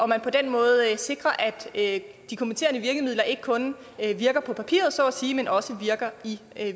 man på den måde sikrer at de kompenserende virkemidler ikke kun virker på papiret så at sige men også virker i